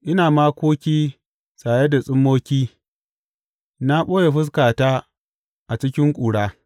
Ina makoki saye da tsummoki na ɓoye fuskata a cikin ƙura.